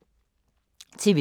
TV 2